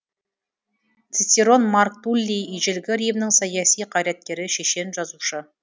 цицерон марк туллий ежелгі римнің саяси қайраткері шешен жазушы